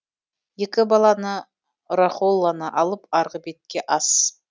екі баланы рахолланы алып арғы бетке ас